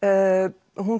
hún